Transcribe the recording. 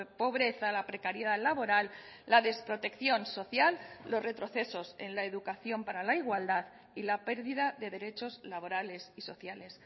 pobreza la precariedad laboral la desprotección social los retrocesos en la educación para la igualdad y la pérdida de derechos laborales y sociales